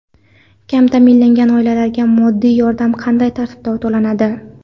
Kam ta’minlangan oilalarga moddiy yordam qanday tartibda to‘lanadi?.